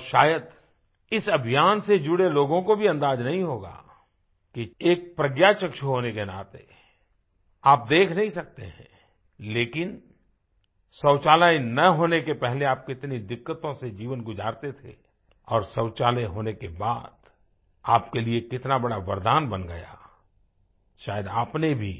और शायद इस अभियान से जुड़े लोगों को भी अंदाज़ा नहीं होगा एक प्रज्ञाचक्षु होने के नाते आप देख नहीं सकते हैं लेकिन शौचालय न होने के पहले आप कितनी दिक्कतों से जीवन गुजारते थे और शौचालय होने के बाद आप के लिए कितना बड़ा वरदान बन गया शायद आपने भी